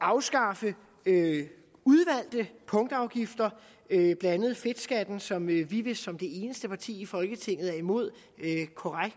afskaffe udvalgte punktafgifter blandt andet fedtskatten som vi vist som det eneste parti i folketinget er imod korreks